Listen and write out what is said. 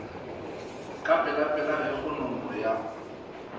ka pelapela ge kgonono ya